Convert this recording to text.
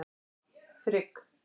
Frigg